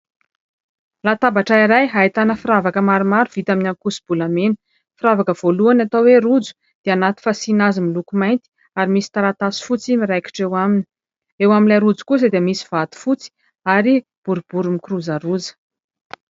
Latabatra iray ahitana firavaka maromaro vita amin'ny ankoso-bolamena. Firavaka voalohany atao hoe rojo, dia anaty fasiana azy miloko mainty ary misy taratasy fotsy miraikitra eo aminy. Eo amin'ilay rojo kosa dia misy vato fotsy ary boribory mikirozaroza.